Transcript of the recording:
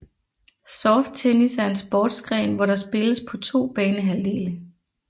Soft tennis er en sportsgren hvor der spilles på to banehalvdele